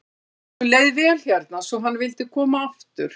Honum leið vel hérna svo hann vildi koma aftur.